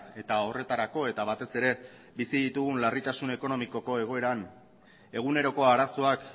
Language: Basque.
eta horretarako eta batez ere bizi ditugun larritasun ekonomikoko egoeran eguneroko arazoak